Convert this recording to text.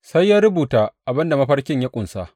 Sai ya rubuta abin da mafarkin ya ƙunsa.